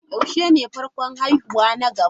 Yaushe ne farkon haihuwa na gaba?